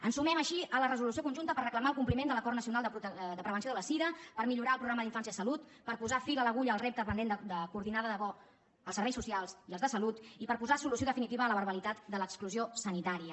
ens sumem així a la resolució conjunta per reclamar el compliment de l’acord nacional de prevenció de la sida per millorar el programa infància en salut per posar fil a l’agulla al repte pendent de coordinar de debò els serveis socials i els de salut i per posar solució definitiva a la barbaritat de l’exclusió sanitària